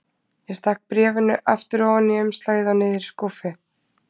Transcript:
Ég stakk bréfinu aftur ofan í umslagið og niður í skúffu.